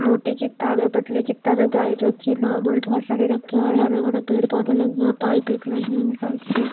मोटे के तावे पतली की तरह गाय रखी है नॉर्मल बहोत सारे रखे हैं और हरे भरे पेड़ पौधे लगे हैं पाइप एक लगी --